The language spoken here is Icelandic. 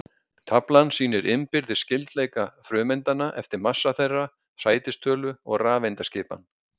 Taflan sýnir innbyrðis skyldleika frumeindanna eftir massa þeirra, sætistölu og rafeindaskipan.